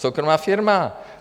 Soukromá firma!